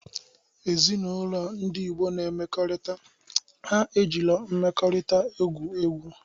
Ezinaụlọ ndi Igbo na emekorita, ha ejiro mmeekorita egwu egwu.